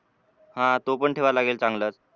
हा तो पण ठेवावा लागेल चांगलाच.